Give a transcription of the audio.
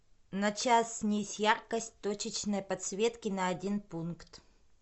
на час снизь яркость точечной подсветки на один пункт